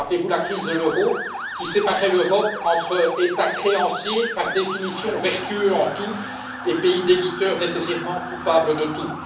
Rappelez vous la crise de l'euro, qui séparait l'Europe entre États créanciers, par définition vertueux en tout, et pays débiteurs, nécessairement coupables de tout.